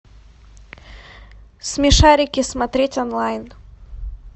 смешарики смотреть онлайн